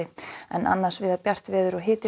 en annars víða bjart veður og hiti